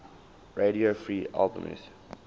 radio free albemuth